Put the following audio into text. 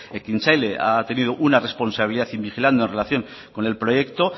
ekintzaile ha tenido una responsabilidad in vigilando en relación con el proyecto